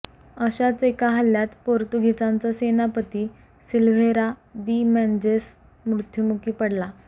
अशाच एका हल्ल्यात पोर्तुगीजांचा सेनापती सिल्व्हेरा दि मेंझेस मृत्युमुखी पडला